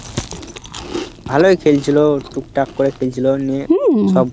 ভালোই খেলছিল, টুকটাক করে খেলছিল, নিয়ে সব